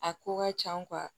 A ko ka ca